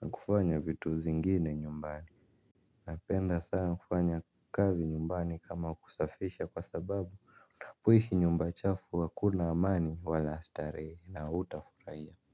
Na kufanya vitu zingine nyumbani. Napenda sana kufanya kazi nyumbani kama kusafisha kwa sababu unapoishi nyumba chafu hakuna amani wala starehe na hutafurahia.